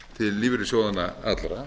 til lífeyrissjóðanna allra